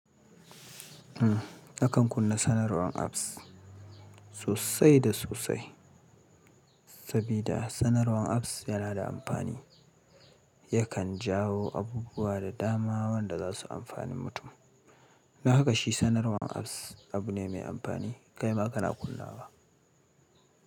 Akan kunna sanarwan apps sosai da sosai, sabida sanarwan apps yana da amfani. Yakan jawo abubuwa da dama waɗanda za su amfanin mutum. Danhaka shi sanarwan apps abu ne mai amfani. Kai ma kana kunna wa?